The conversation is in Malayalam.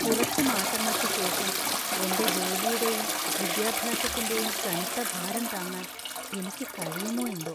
കുറച്ച് മാസങ്ങൾക്ക് ശേഷം എന്‍റെ ജോലിയുടെയും വിദ്യാഭ്യാസത്തിന്‍റെയും കനത്ത ഭാരം താങ്ങാൻ എനിക്ക് കഴിയുമോ എന്തോ!